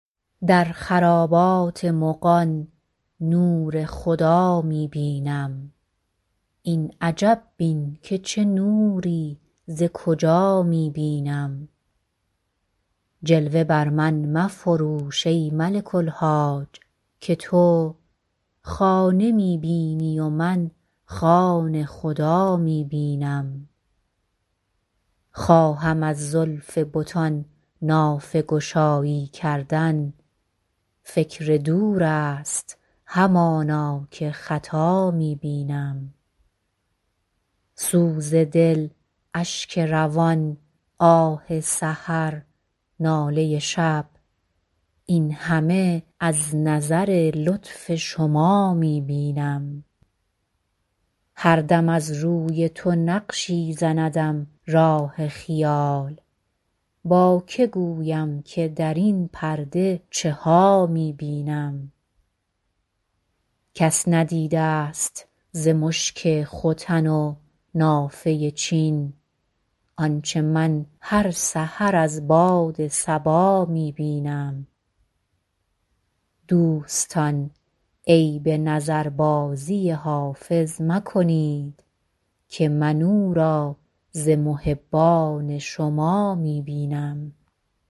در خرابات مغان نور خدا می بینم این عجب بین که چه نوری ز کجا می بینم جلوه بر من مفروش ای ملک الحاج که تو خانه می بینی و من خانه خدا می بینم خواهم از زلف بتان نافه گشایی کردن فکر دور است همانا که خطا می بینم سوز دل اشک روان آه سحر ناله شب این همه از نظر لطف شما می بینم هر دم از روی تو نقشی زندم راه خیال با که گویم که در این پرده چه ها می بینم کس ندیده ست ز مشک ختن و نافه چین آنچه من هر سحر از باد صبا می بینم دوستان عیب نظربازی حافظ مکنید که من او را ز محبان شما می بینم